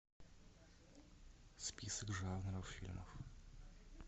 список жанров фильмов